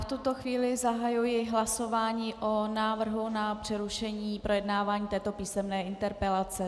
V tuto chvíli zahajuji hlasování o návrhu na přerušení projednávání této písemné interpelace.